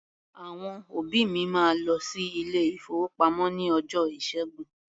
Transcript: Àwọn òbí mi máa lọ sí ilé-ìfowópamọ́ ní ọjọ́ Ìṣẹ́gun.